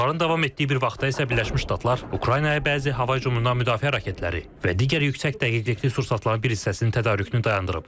Hücumların davam etdiyi bir vaxtda isə Birləşmiş Ştatlar Ukraynaya bəzi hava hücumundan müdafiə raketləri və digər yüksək dəqiqlikli sursatların bir hissəsinin tədarükünü dayandırıb.